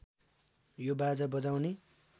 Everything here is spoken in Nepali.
यो बाजा बजाउने